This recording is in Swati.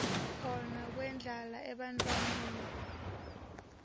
khona kwendlala ebantfwaneni